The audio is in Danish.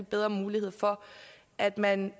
bedre mulighed for at man